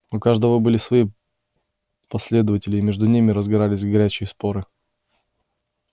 у каждого были свои последователи и между ними разгорались горячие споры